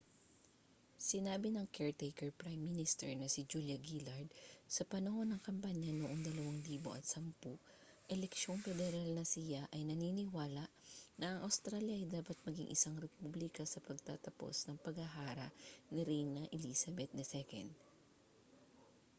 sinabi ng caretaker prime minister na si julia gillard sa panahon ng kampanya noong 2010 eleksyong pederal na siya ay naniniwala na ang australya ay dapat maging isang republika sa pagtatapos ng paghahara ni reyna elizabeth ii